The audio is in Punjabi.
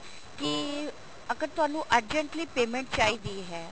ਕੀ ਅਗਰ ਤੁਹਾਨੂੰ urgently payment ਚਾਹੀਦੀ ਹੈ